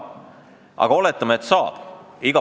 Aga oletame, et saab.